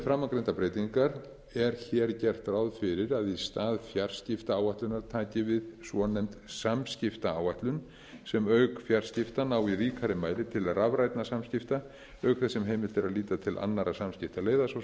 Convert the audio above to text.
framangreindar breytingar er hér gert ráð fyrir að í stað fjarskiptaáætlunar taki við svonefnd samskiptaáætlun sem auk fjarskipta nái í ríkari mæli til rafrænna samskipta auk þess sem heimilt sé að líta til annarra samskiptaleiða svo